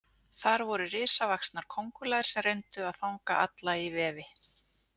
Þar voru risavaxnar kóngulær sem reyndu að fanga alla í vefi.